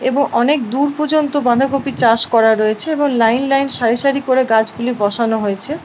এবং অনেক দূর পর্যন্ত বাঁধাকপি চাষ করা রয়েছে এবং লাইন লাইন সারি সারি করে গাছগুলি বসানো হয়েছে।